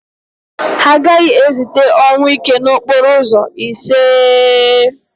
Ha agaghị ezite ọnwụike n'okporo ụzọ, iseee!